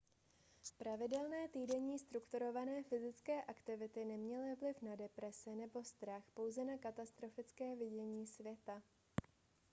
pravidelné týdenní strukturované fyzické aktivity neměly vliv na deprese nebo strach pouze na katastrofické vidění světa